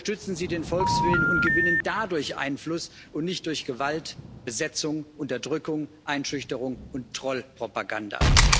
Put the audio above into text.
Unterstützen Sie den Volkswillen und gewinnen dadurch Einfluss, und nicht durch Gewalt, Besetzung, Unterdrückung, Einschüchterung und Troll Propaganda!